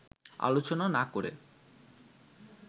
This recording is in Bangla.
আলোচনা না করে